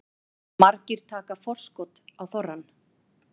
Margir taka forskot á þorrann